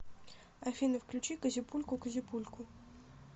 афина включи козяпульку козяпульку